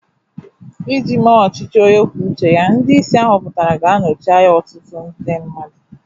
Iji mee ọchịchị onye kwuo uche ya, ndị isi a họpụtara ga-anọchi anya otu ndị mmadụ